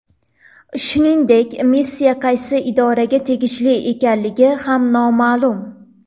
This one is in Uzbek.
Shuningdek, missiya qaysi idoraga tegishli ekanligi ham noma’lum.